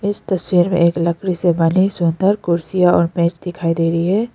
इस तस्वीर में एक लकड़ी से बनी सुन्दर कुर्सी और बेंच दिखाई दे रही है।